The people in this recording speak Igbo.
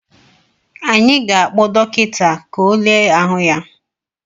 Anyị ga-akpọ dọkịta, ka ọ le ahụ ya